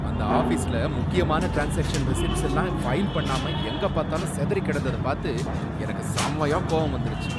அந்த ஆஃபீஸ்ல முக்கியமான டிரான்ஸாக்ஷன் ரெசிப்ட்ஸ் எல்லாம் ஃபைல் பண்ணாம எங்க பாத்தாலும் சிதறி கிடந்தத பாத்து எனக்கு செமையா கோபம் வந்திருச்சு.